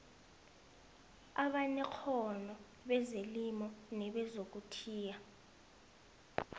abanekghono bezelimo nebezokuthiya